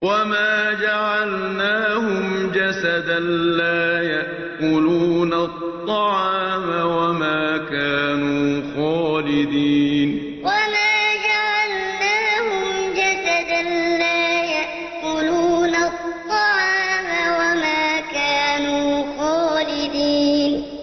وَمَا جَعَلْنَاهُمْ جَسَدًا لَّا يَأْكُلُونَ الطَّعَامَ وَمَا كَانُوا خَالِدِينَ وَمَا جَعَلْنَاهُمْ جَسَدًا لَّا يَأْكُلُونَ الطَّعَامَ وَمَا كَانُوا خَالِدِينَ